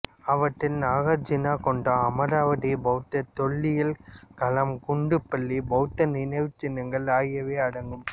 அவற்றில் நாகார்ஜுனகொண்டா அமராவதி பௌத்த தொல்லியல் களம் குண்டுபள்ளி பௌத்த நினைவுச் சின்னங்கள் ஆகியவை அடங்கும்